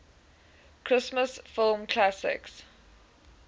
christmas film classic